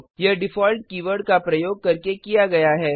यह default keyword का प्रयोग करके किया गया है